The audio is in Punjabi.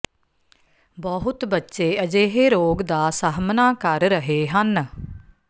ਬਹੁਤੇ ਬੱਚੇ ਅਜਿਹੇ ਰੋਗ ਦਾ ਦਾ ਸਾਹਮਣਾ ਕਰ ਰਹੇ ਹਨ